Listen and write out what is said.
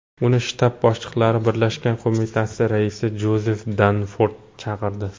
Uni shtab boshliqlari birlashgan qo‘mitasi raisi Jozef Danford chaqirdi.